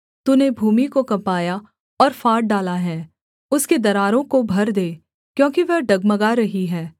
तूने भूमि को कँपाया और फाड़ डाला है उसके दरारों को भर दे क्योंकि वह डगमगा रही है